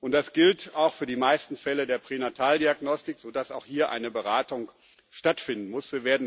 Und das gilt auch für die meisten Fälle der Pränataldiagnostik, sodass auch hier eine Beratung stattfinden muss.